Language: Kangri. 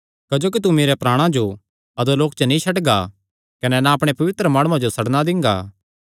क्जोकि तू मेरेयां प्राणा जो अधोलोक च नीं छड्डगा कने ना अपणे पवित्र माणुआं जो सड़नां दिंगा